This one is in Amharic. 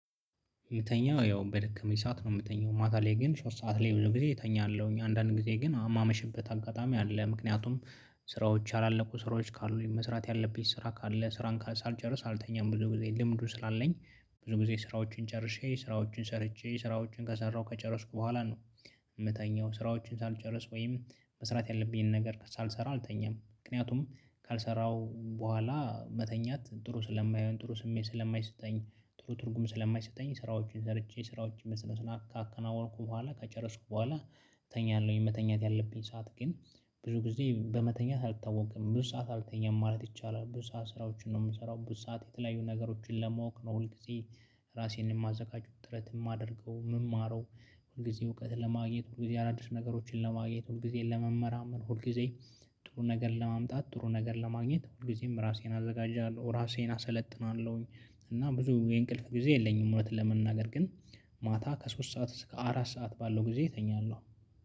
የምተኛው ያው በደከመኝ ሰዓት ነው የምተኛው። ማታ ላይ ግን ሶስት ሰዓት ላይ ብዙ ጊዜ እተኛለሁኝ። እኛ አንዳንድ ጊዜ ግን የማመሽበት አጋጣሚ አለ። ምክንያቱም ስራዎች ያላለቁ ስራዎች ካሉኝ መስራት ያለብኝ ስራ ካለ፣ ስራን ካል ሳልጨርስም አልተኛም ብዙ ጊዜ ልምዱን ስላለኝ ብዙ ጊዜ ስራዎችን ጨርሼ ስራዎችን ሰርቼ ስራዎችን ከሰራሁ ከጨረስኩ በኋላ ነው የምተኛው። ስራዎችን ሳልጨርስ ወይም መስራት ያለብኝን ነገር ሳልሰራ አልተኛም። ምክንያቱም ካልሰራው በኋላ መተኛት ጥሩ ስለማይሆን፣ ጥሩ ስሜት ስለማይሰጠኝ፣ ጥሩ ትርጉም ስለማይሰጠኝ ስራዎችን ሰርቼ ስራዎችን በስነስርዓት ካከናወንኩ በኋላ ከጨረስኩ በኋላ ተኛለሁኝ። መተኛት ያለብኝ ሰዓት ግን ብዙ ጊዜ በመተኛት አልታወቀም። ብዙ ሰዓት አልተኛም ማለት ይቻላል። ብዙ ሰዓት ስራዎችን ነው የምሰራው። ብዙ ሰዓት የተለያዩ ነገሮችን ለመወቅ ነው ሁል ጊዜ ራሴን የማዘጋጅ ጥረት የማደርገው የምማረው ሁል ጊዜ እውቀትን ለማግኘት ሁል ጊዜ አዳዲስ ነገሮችን ለማግኘት ሁል ጊዜን ለመመራመር ሁል ጊዜ ጥሩ ነገር ለማምጣት ጥሩ ነገር ለማግኘት ሁል ጊዜም ራሴን አዘጋጃለሁ። ራሴን አሰለጥናለሁኝ እና ብዙ የእንቅልፍ ጊዜ የለኝም ማለት ለመናገር ግን ማታ ከሶስት ሰዓት እስከ አራት ሰዓት ባለው ጊዜ እተኛለሁ